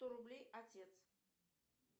сто рублей отец